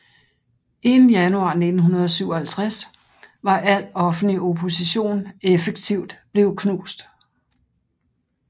Inden januar 1957 var al offentlig opposition effektivt blevet knust